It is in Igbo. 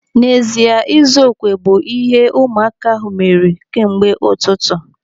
N'ezie, ịzu okwe bụ naanị ihe ụmụaka ahụ mere kemgbe ụtụtụ.